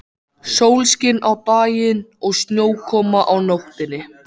Sólskin á daginn og snjókoma á nóttunni.